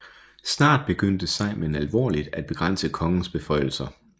Snart begyndte Sejmen alvorligt at begrænse kongens beføjelser